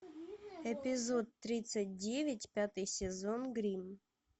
эпизод тридцать девять пятый сезон гримм